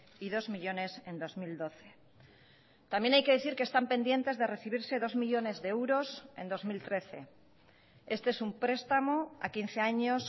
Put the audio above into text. y dos millónes en dos mil doce también hay que decir que están pendientes de recibirse dos millónes de euros en dos mil trece este es un prestamo a quince años